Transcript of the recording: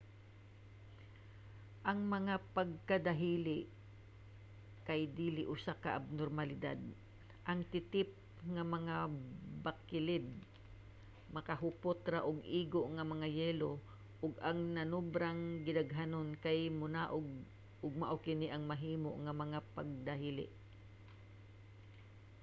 ang mga pagdahili kay dili usa ka abnormalidad; ang titip nga mga bakilid makahupot ra og igo nga mga yelo ug ang nanobrang gidaghanon kay monaog ug mao kini ang mahimo nga mga pagdahili